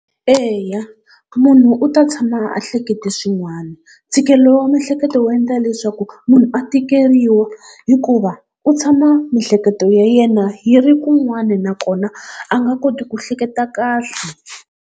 Eya munhu u ta tshama a hlekete swin'wana, ntshikelelo wa miehleketo wo endla leswaku munhu a tikeriwa hikuva u tshama miehleketo ya yena yi ri kun'wana nakona a nga koti ku hleketa kahle.